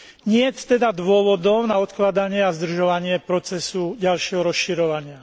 Niet teda dôvodov na odkladanie a zdržovanie procesu ďalšieho rozširovania.